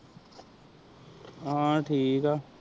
ਹਾਂ ਠੀਕ ਆਝ